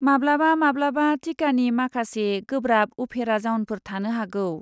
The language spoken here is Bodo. माब्लाबा माब्लाबा टिकानि माखासे गोब्राब उफेरा जाउनफोर थानो हागौ।